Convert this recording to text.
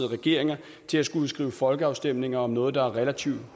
regeringer til at skulle udskrive folkeafstemning om noget der er relativt